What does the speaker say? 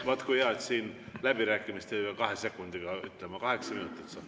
Vaat kui hea, et siin läbirääkimised ei ole kahe sekundiga, kaheksa minutit saab.